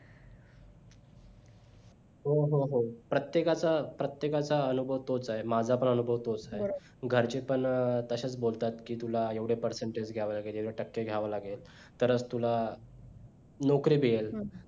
हो हो हो प्रत्येकाचा प्रत्येकाचा अनुभव तोच आहे माझा पण अनुभव तोच आहे घरचे पण तसेच बोलतात कि तुला ऐवढे percentage घ्यावे लागेल एवढे टक्के घ्यावे लागेल तर तुला नोकरी मिळेल